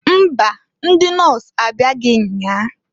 Mba! Ndị nọs abịaghị nnyaa.